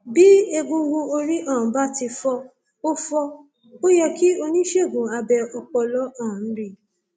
bí egungun orí um bá ti fọ ó fọ ó yẹ kí oníṣègùn abẹ ọpọlọ um rí i